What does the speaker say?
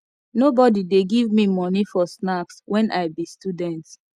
nobodi dey give me moni for snacks wen i be student